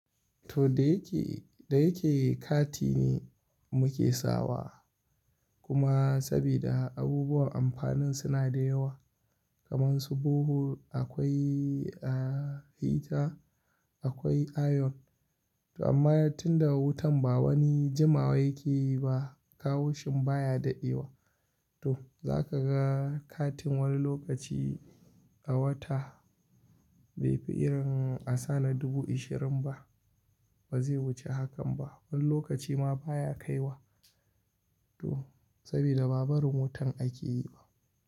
To da yake, da yake kati ne muke sawa kuma sabida abubuwan amfanin suna da yawa kaman su borehole akwai, heater akwai iron. Amma tun da wutan ba wani jima wa yake yi ba, kawoshin baya dadewa. To za ka ga katin wani lokaci a wata bai fi irin a sana dubu ashirin ba, ba zai wuce hakan ba. Wani lokaci ma baya kai wa to sabida ba bari wutan akeyi ba.